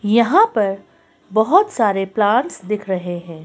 यहां पर बहुत सारे प्लांट्स दिख रहे हैं।